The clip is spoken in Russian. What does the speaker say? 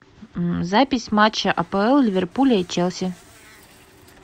запись матча апл ливерпуля и челси